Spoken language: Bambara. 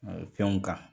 Fɛnw kan